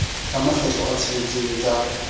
ka makgetlo a tsheletseng ka